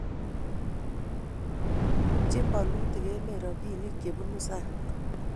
ibchini bolutik emet robinik chebunu sang